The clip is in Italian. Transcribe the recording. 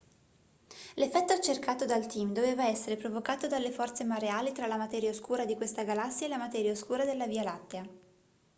l'effetto cercato dal team doveva essere provocato dalle forze mareali tra la materia oscura di questa galassia e la materia oscura della via lattea